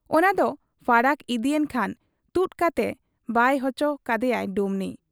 ᱚᱱᱟᱫᱚ ᱯᱷᱟᱨᱟᱠ ᱤᱫᱤᱭᱮᱱ ᱠᱷᱟᱱ ᱛᱩᱫ ᱠᱟᱛᱮ ᱵᱟᱭ ᱚᱪᱚ ᱠᱟᱫᱮᱭᱟᱭ ᱰᱩᱢᱱᱤ ᱾